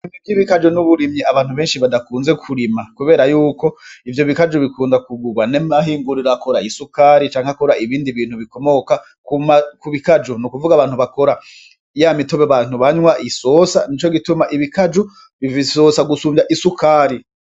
Ibmi vy'ibikaju n'uburimyi abantu benshi badakunze kurima, kubera yuko ivyo bikaju bikunda kugurwa n'emahingurira akora isukari canke akora ibindi bintu bikomoka kuma ku bikaju ni'ukuvuga abantu bakora iya mitobe bantu banywa isosa ni co gituma ibikaju bi isosa gusumvya isukari.